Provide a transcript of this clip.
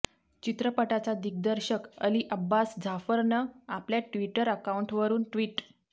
चित्रपटाचा दिग्दर्शक अली अब्बास झाफरनं आपल्या ट्विटर अकाऊंटवरून ट्विट